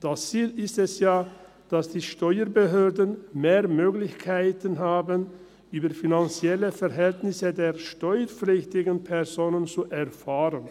Das Ziel ist ja, dass die Steuerbehörden mehr Möglichkeiten haben, über die finanziellen Verhältnisse der steuerpflichtigen Personen zu erfahren.